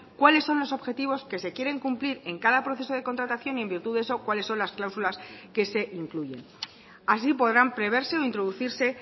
cuáles son los objetivos que se quieren cumplir en cada proceso de contratación y en virtud de eso cuáles son las cláusulas que se incluyen así podrán preverse o introducirse